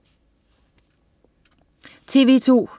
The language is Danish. TV2: